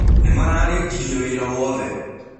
Nĩmararĩkĩrĩe wĩra wothe.